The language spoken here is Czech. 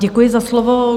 Děkuji za slovo.